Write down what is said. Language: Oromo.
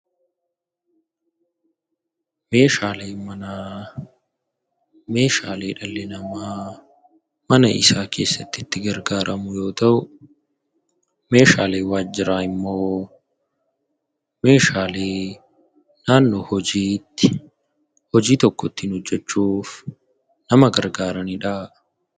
Meeshaaleen manaa meeshaalee dhalli namaa mana isaa keessatti itti gargaaramu yoo ta'u, meeshaaleen waajjiraa immoo meeshaalee naannoo hojiitti hojii tokko ittiin hojjechuuf nama gargaaranii dhaa.